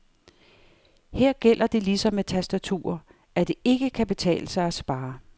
Her gælder det ligesom med tastaturer, at det ikke kan betale sig at spare.